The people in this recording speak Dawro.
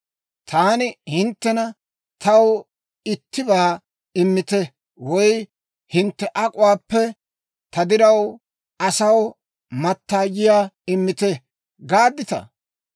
Taani hinttena, ‹Taw ittibaa immite› woy, ‹Hintte ak'uwaappe ta diraw asaw mattaayiyaa immite› gaadditaa?